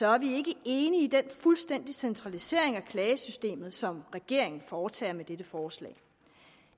er vi ikke enige i den fuldstændige centralisering af klagesystemet som regeringen foretager med dette forslag